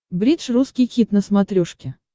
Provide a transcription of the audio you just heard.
бридж русский хит на смотрешке